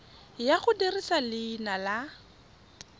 ya go dirisa leina la